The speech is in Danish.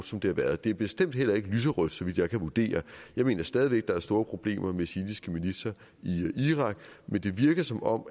som det har været det er bestemt heller ikke lyserødt så vidt jeg kan vurdere jeg mener stadig væk der er store problemer med shiitiske militser i irak men det virker som om